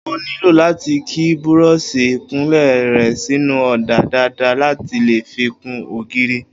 O óò nílò láti ki búró̩ò̩s̩ì ìkunlé re̩ sínú ò̩dà dáadáa láti lè fi kun ògiri